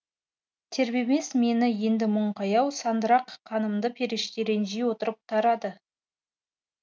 тербемес мені енді мұң қаяу сандырақ қанымды періште ренжи отырып тарады